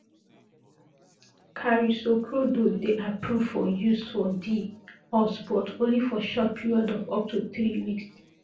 carisoprodol dey approved for use for di us but only for short periods of up to three weeks